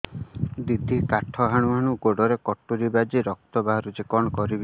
ଦିଦି କାଠ ହାଣୁ ହାଣୁ ଗୋଡରେ କଟୁରୀ ବାଜି ରକ୍ତ ବୋହୁଛି କଣ କରିବି